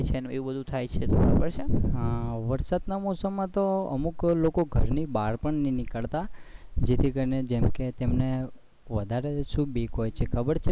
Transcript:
એ બધુ થાય છે ખબર છે ને વરસાદ ની મોસમ માં તો અમુક લોકો ઘર ની બહાર પણ નઈ નીકળતા જેથી કરીને જેમ કે તેમને વધારે શું બીક હોય છે ખબર છે